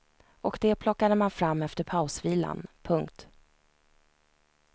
Och det plockade man fram efter pausvilan. punkt